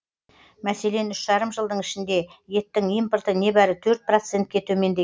мәселен үш жарым жылдың ішінде еттің импорты небәрі төрт процентке төмендеген